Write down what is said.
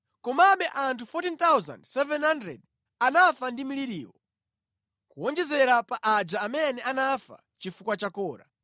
Komabe anthu 14, 700 anafa ndi mliriwo, kuwonjezera pa aja amene anafa chifukwa cha Kora.